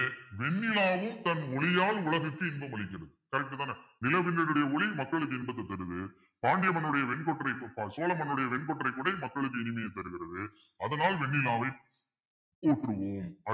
வெண்ணிலாவும் தன் ஒளியால் உலகுக்கு இன்பம் அளிக்குது correct தானே நிலவின் உடைய ஒளி மக்களுக்கு இன்பத்தைத் தருது பாண்டிய மன்னனுடைய வெண்கொற்றை சோழ மன்னனுடைய வெண்கொற்றை கொடை மக்களுக்கு இனிமையை தருகிறது அதனால் வெண்ணிலாவை போற்றுவோம்